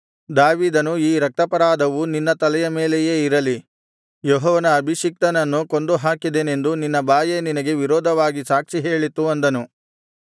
ದಾವೀದನು ಈ ರಕ್ತಾಪರಾಧವು ನಿನ್ನ ತಲೆಯ ಮೇಲೆಯೇ ಇರಲಿ ಯೆಹೋವನ ಅಭಿಷಿಕ್ತನನ್ನು ಕೊಂದುಹಾಕಿದೆನೆಂದು ನಿನ್ನ ಬಾಯೇ ನಿನಗೆ ವಿರೋಧವಾಗಿ ಸಾಕ್ಷಿ ಹೇಳಿತು ಅಂದನು